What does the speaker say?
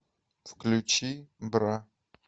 включи бра